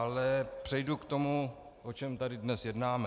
Ale přejdu k tomu, o čem tady dnes jednáme.